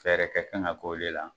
Fɛɛrɛ kɛ kan ka k'o le la.